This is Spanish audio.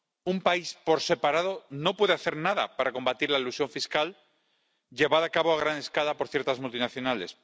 Un país por separado no puede hacer nada para combatir la elusión fiscal, llevada a cabo a gran escala por ciertas multinacionales.